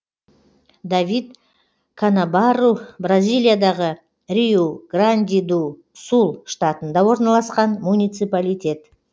давид канабарру бразилиядағы риу гранди ду сул штатында орналасқан муниципалитет